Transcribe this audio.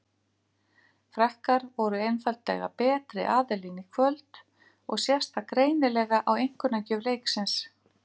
Frakkar voru einfaldlega betri aðilinn í kvöld og sést það greinilega á einkunnagjöf leiksins.